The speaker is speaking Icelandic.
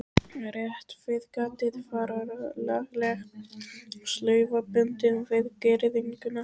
Rétt við gatið var lagleg slaufa bundin við girðinguna.